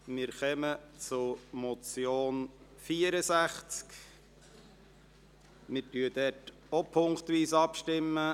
Wer den Punkt 2 dieser Motion annehmen will, stimmt Ja, wer dies ablehnt, stimmt Nein.